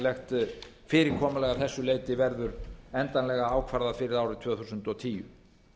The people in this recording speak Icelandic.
skattalegt fyrirkomulag af þessu leyti verður endanlega ákvarðað fyrir árið tvö þúsund og tíu